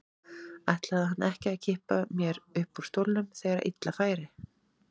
Ætlaði hann ekki að kippa mér upp úr stólnum þegar illa færi?